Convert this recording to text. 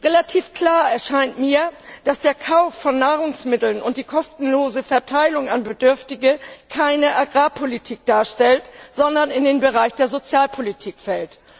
Relativ klar erscheint mir, dass der Kauf von Nahrungsmitteln und die kostenlose Verteilung an Bedürftige keine Agrarpolitik darstellt, sondern in den Bereich der Sozialpolitik fällt.